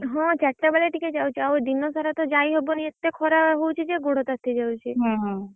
ହଁ ଚାରି ଟା ବେଳିଆ ଟିକେ ଯାଉଛି ଦିନ ସାରା ତ ଯାଇ ହବନି ଏତେ ଖରା ହଉଛି ଯେ ଗୋଡ଼ ତାତି ଯାଉଛି।